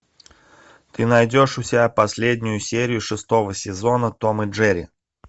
ты найдешь у себя последнюю серию шестого сезона том и джерри